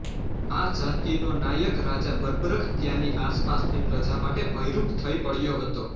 આ જાતિનો નાયક રાજા બર્બરક ત્યાંની આસપાસની પ્રજા માટે ભયરૂપ થઇ પડ્યો હતો